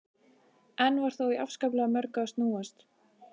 Enn var þó í afskaplega mörgu að snúast.